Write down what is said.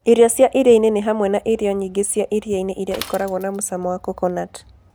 Irio cia iria-inĩ nĩ hamwe na irio nyingĩ cia iria-inĩ iria ikoragwo na mũcamo wa coconut.